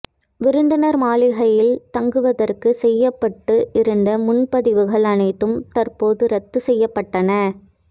விருந்தினர் மாளிகையில் தங்குவதற்கு செய்யப்பட்டு இருந்த முன்பதிவுகள் அனைத்தும் தற்போது ரத்து செய்யப்பட்டன